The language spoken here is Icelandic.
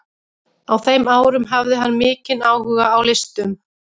Á þeim árum hafði hann mikinn áhuga á listum.